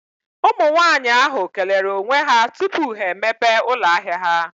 Ụmụ nwaanyị ahụ kelere onwe ha tupu ha emepe ụlọ ahia ha.